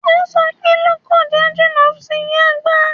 O sọ pé Lọ́kọ́ja jìnà sí Yàgbà